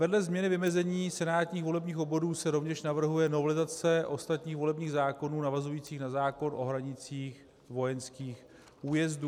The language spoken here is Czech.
Vedle změny vymezení senátních volebních obvodů se rovněž navrhuje novelizace ostatních volebních zákonů navazujících na zákon o hranicích vojenských újezdů.